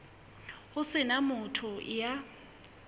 ho se na motho ya